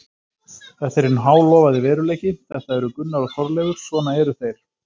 Þetta er hinn hálofaði veruleiki, þetta eru Gunnar og Þorleifur, svona eru þeir.